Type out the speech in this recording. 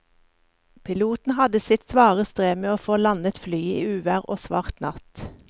Piloten hadde sitt svare strev med å få landet flyet i uvær og svart natt.